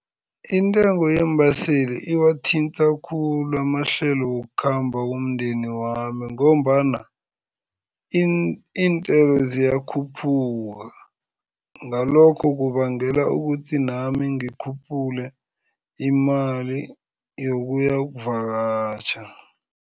Intengo yeembaseli iwathinta khulu amahlelo wokukhamba womndeni wami ngombana iintelo ziyakhuphuka ngalokho kubangela ukuthi nami ngikhuphule imali yokuya ukuvakatjha.